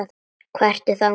Hvaðan ertu þá?